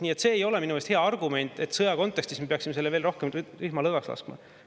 Nii et see ei ole minu meelest hea argument, et sõja kontekstis me peaksime veel rohkem rihma lõdvaks laskma.